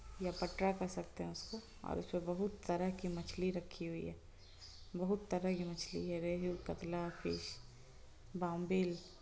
यह पटरा कह सकते है उसको और उसपे बहोत तरह की मछली रखी हुई है बहोत तरह की मछली है रेलू कटला फिश बॉम्बिल।